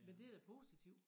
Men da positivt